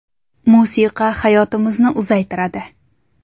Musiqa hayotimizni uzaytiradi.